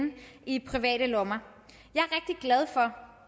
i private lommer jeg